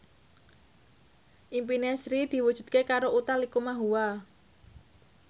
impine Sri diwujudke karo Utha Likumahua